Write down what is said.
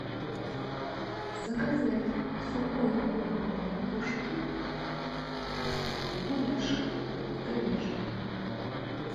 заказать сухой корм для кошки гуляш говяжий